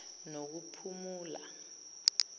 nokuphumula